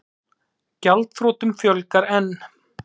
Gjaldþrotum fjölgar enn